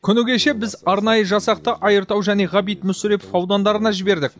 күні кеше біз арнайы жасақты айыртау және ғабит мүсірепов аудандарына жібердік